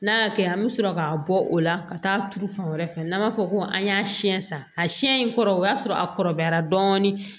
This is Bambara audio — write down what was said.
N'a y'a kɛ an bɛ sɔrɔ ka bɔ o la ka taa turu fan wɛrɛ fɛ n'an b'a fɔ ko an y'a siyɛn san in kɔrɔ o y'a sɔrɔ a kɔrɔbayara dɔɔni